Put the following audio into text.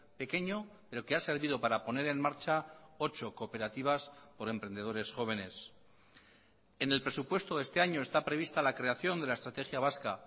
pequeño pero que ha servido para poner en marcha ocho cooperativas por emprendedores jóvenes en el presupuesto de este año está prevista la creación de la estrategia vasca